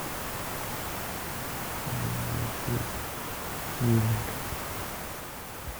найти юленька